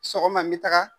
Sɔgɔma n bɛ taga